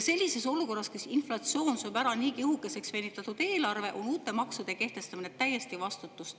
Sellises olukorras, kus inflatsioon sööb niigi õhukeseks venitatud eelarve, on uute maksude kehtestamine täiesti vastutustundetu.